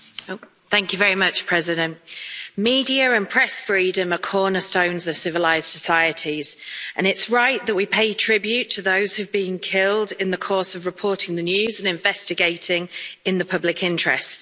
Madam President, media and press freedom are cornerstones of civilised societies and it's right that we pay tribute to those who have been killed in the course of reporting the news and investigating in the public interest.